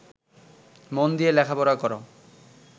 মন দিয়া লেখাপড়া কর